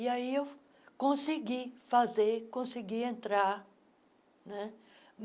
E aí eu consegui fazer, consegui entrar né.